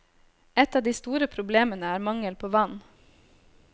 Ett av de store problemene er mangel på vann.